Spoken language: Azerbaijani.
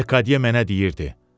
Lekadiye mənə deyirdi.